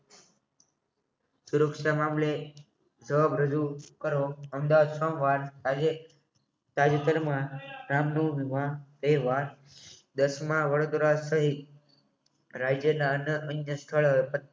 સુરક્ષા મામલે અમદાવાદ આજે તાજેતરમાં એકવાર દસમાં વડોદરા સહિત રાજ્યના અન્ય સ્થળ